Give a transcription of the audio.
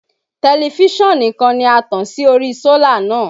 Tẹlifíṣàn nìkan ni a tàn sí ori sólà náà